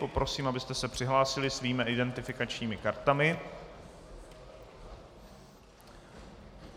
Poprosím, abyste se přihlásili svými identifikačními kartami.